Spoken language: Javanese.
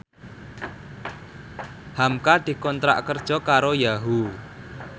hamka dikontrak kerja karo Yahoo!